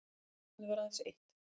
Fundarefnið var aðeins eitt